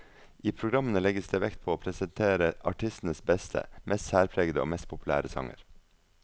I programmene legges det vekt på å presentere artistens beste, mest særpregede og mest populære sanger.